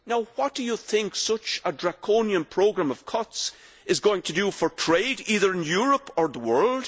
What do you think such a draconian programme of cuts is going to do for trade, either in Europe or in the world?